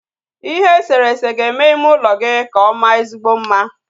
Ihe eserese ga-eme ime ụlọ gị ka ọ maa ezigbo mma